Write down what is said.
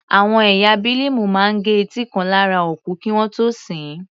Àwọn ẹ̀yà Bílíìmù máa gẹ etí kan lára òkú kí wọ́n tó sin ín.